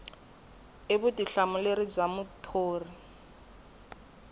i vutihlamuleri bya muthori ku